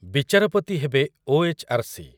ବିଚାରପତି ହେବେ ଓ.ଏଚ୍.ଆର୍.ସି.